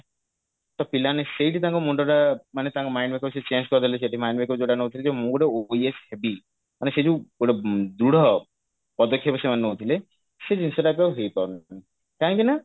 ତ ପିଲାମାନେ ସେଇଠି ତାଙ୍କ ମୁଣ୍ଡ ଟା ମାନେ ତାଙ୍କ mind make up ସିଏ change କରିଦେଲେ ସେଠି mind make up ଯଉଟା ନଉଛନ୍ତି ଯେ ମୁଁ ଗୋଟେ OAS ହେବି ମାନେ ସେଇ ଯଉ ଗୋଟେ ଦୃଢ ପଦକ୍ଷପ ସେମାନେ ନଉଥିଲେ ସେଇ ଜିନିଷ ଟା ଏବେ ହେଇପାରୁନି କାହିଁକି ନା